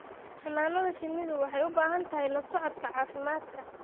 Xannaanada shinnidu waxay u baahan tahay la socodka caafimaadka.